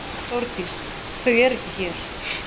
Þórdís: Þau eru ekki hér.